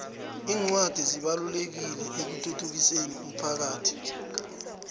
incwadi zibalulekile ekuthuthukiseni umphakhathi